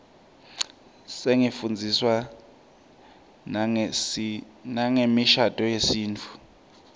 sifundziswa nangemishadvo yesintfu